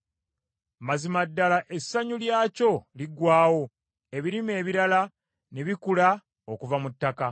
Mazima ddala essanyu lyakyo liggwaawo, ebirime ebirala ne bikula okuva mu ttaka.